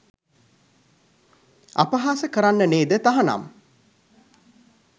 අපහාස කරන්න නේද තහනම්?